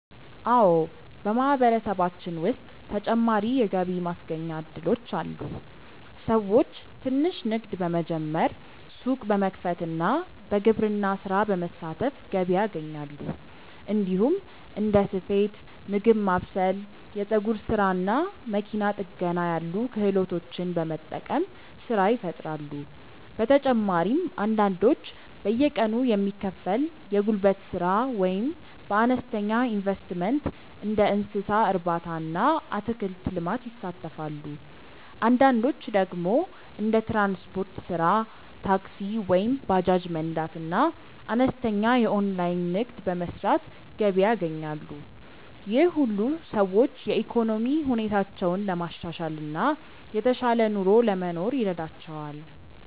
አዎ፣ በማህበረሰባችን ውስጥ ተጨማሪ የገቢ ማስገኛ እድሎች አሉ። ሰዎች ትንሽ ንግድ በመጀመር፣ ሱቅ በመክፈት እና በግብርና ስራ በመሳተፍ ገቢ ያገኛሉ። እንዲሁም እንደ ስፌት፣ ምግብ ማብሰል፣ የፀጉር ስራ እና መኪና ጥገና ያሉ ክህሎቶችን በመጠቀም ስራ ይፈጥራሉ። በተጨማሪም አንዳንዶች በየቀኑ የሚከፈል የጉልበት ስራ ወይም በአነስተኛ ኢንቨስትመንት እንደ እንስሳ እርባታ እና አትክልት ልማት ይሳተፋሉ። አንዳንዶች ደግሞ እንደ ትራንስፖርት ስራ (ታክሲ ወይም ባጃጅ መንዳት) እና አነስተኛ የኦንላይን ንግድ በመስራት ገቢ ያገኛሉ። ይህ ሁሉ ሰዎች የኢኮኖሚ ሁኔታቸውን ለማሻሻል እና የተሻለ ኑሮ ለመኖር ይረዳቸዋል።